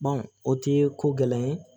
o tɛ ko gɛlɛya ye